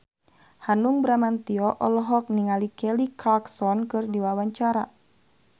Hanung Bramantyo olohok ningali Kelly Clarkson keur diwawancara